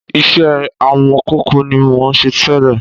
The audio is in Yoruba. Iṣẹ́ amọ̀kòkò ni mò ń ṣe tẹ́lẹ̀